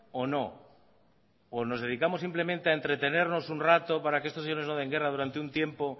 o no o no dedicamos simplemente a entretenernos un rato para que esto señores no den guerra durante un tiempo